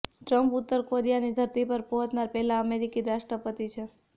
Trump ઉત્તર કોરિયાની ધરતી પર પહોંચનાર પહેલા અમેરિકી રાષ્ટ્રપતિ છે